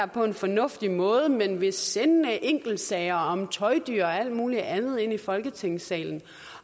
på en fornuftig måde men vil sende enkeltsager om tøjdyr og alt muligt andet ind i folketingssalen